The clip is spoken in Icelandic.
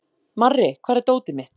Marri, hvar er dótið mitt?